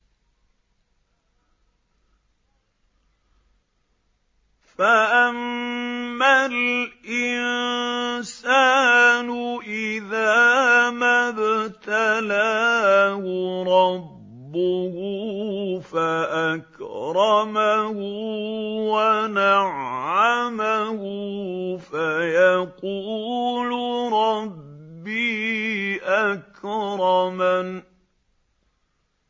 فَأَمَّا الْإِنسَانُ إِذَا مَا ابْتَلَاهُ رَبُّهُ فَأَكْرَمَهُ وَنَعَّمَهُ فَيَقُولُ رَبِّي أَكْرَمَنِ